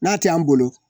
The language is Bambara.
N'a t'an bolo